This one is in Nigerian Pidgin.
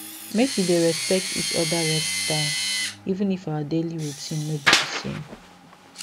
make we dey respect each other rest time even if our daily routine no be the same